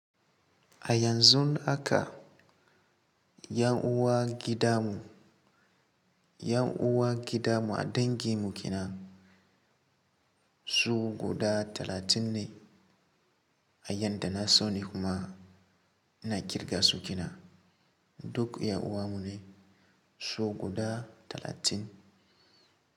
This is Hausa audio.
A yanzun haka 'yan uwa gida mu, 'yan uwa gida mu a dangin mu kina su guda talatin ne. A yadda na sani kuma ina kirga su kenan. Duk 'yan uwan mu ne su guda talatin.